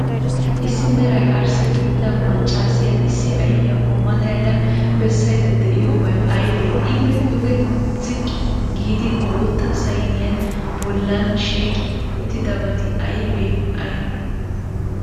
Issi meray arssa gidido maccaasiyaa issi ayfiyaakko matayada bessaydda de'iyoobay aybee? Ippe duge ziqqi giidi bootta sayniya bollan shiiqi uttidabati aybee aybee?